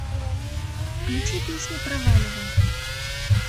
включи песню проваливай